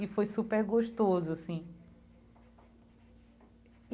E foi super gostoso, assim.